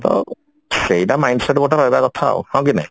ତ ସେଇଟା mind set ଗୋଟେ ରହିବା କଥା ଆଉ ହଁ କି ନାହିଁ?